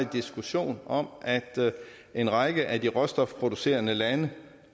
diskussion om at en række af de råstofproducerende lande